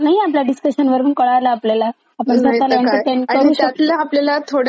नाहीतर काय त्यातल्या स्वतःला एन्टरटेन करू शकतो. आपल्याला थोड्याच माहिती असता आणि आपण थोड्याच करतोच.